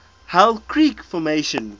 hell creek formation